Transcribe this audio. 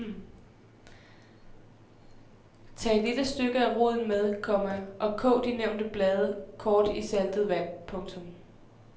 Tag et lille stykke af roden med, komma og kog de nævnte blade kort i saltet vand. punktum